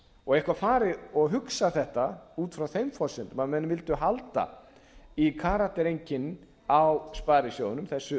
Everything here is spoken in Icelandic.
og eitthvað farið og hugsað þetta út frá þeim forsendum að menn vildu halda í karaktereinkenni á sparisjóðunum þessu